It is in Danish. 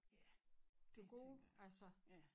Ja dét tænker jeg også ja